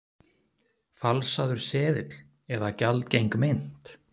Falsaður seðill eða gjaldgeng mynt?